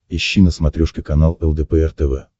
ищи на смотрешке канал лдпр тв